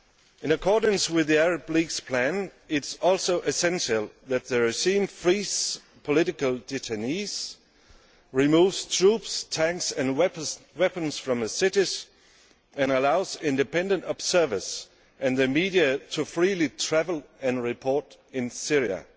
In accordance with the Arab League's plan, it is also essential that the regime frees political detainees, removes troops, tanks and weapons from the cities and allows independent observers and the media to freely travel and report in Syria.